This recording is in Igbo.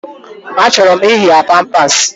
Achọrọ m iyi ya pampasi